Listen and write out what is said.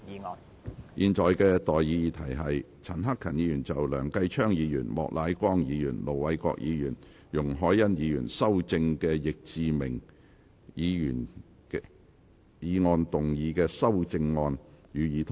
我現在向各位提出的待議議題是：陳克勤議員就經梁繼昌議員、莫乃光議員、盧偉國議員及容海恩議員修正的易志明議員議案動議的修正案，予以通過。